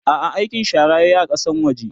a'a aikin shara yayi a Kasan waje